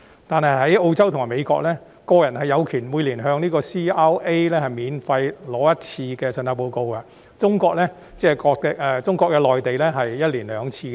但是，在澳洲和美國，個人有權每年向 CRA 免費索取信貸報告一次，而中國內地更是每年兩次。